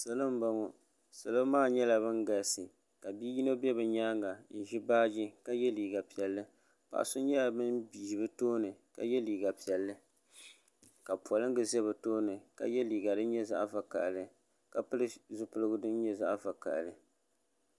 salɔ n bɔŋɔ salɔ maa nyɛla bin galisi ka bia yino bɛ bi nyaanga ka nyaɣa baaji ka yɛ liiga piɛlli paɣa so nyɛla bin ʒi bi tooni ka yɛ liiga piɛlli ka polingi ʒɛ bi tooni ka yɛ liiga din nyɛ zaɣ vakaɣali ka pili zipiligu din nyɛ zaɣ vakaɣali